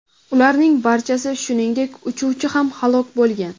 Ularning barchasi, shuningdek, uchuvchi ham halok bo‘lgan.